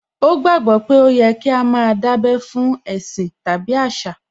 Ó gbàgbó pé ó yẹ kí á má a dábẹ́ fún ẹ̀sìn tàbí àṣà